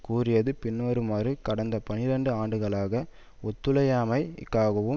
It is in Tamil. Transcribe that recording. கூறியது பின்வருமாறு கடந்த பனிரண்டு ஆண்டுகளாக ஒத்துழையாமை க்காகவும்